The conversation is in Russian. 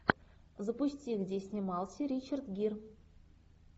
запусти где снимался ричард гир